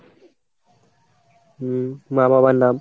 হম মা বাবার নাম।